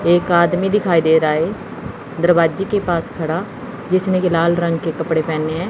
एक आदमी दिखाई दे रहा है दरवाजे के पास खड़ा जिसने की लाल रंग के कपड़े पहने हैं।